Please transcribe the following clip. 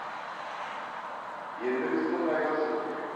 ендігі істің айласы не